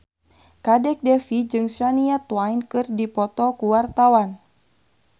Kadek Devi jeung Shania Twain keur dipoto ku wartawan